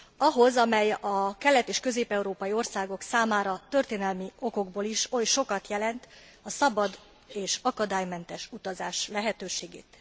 Ahhoz, amely a kelet és közép európai országok számára történelmi okokból is olyan sokat jelent a szabad és akadálymentes utazás lehetőségét.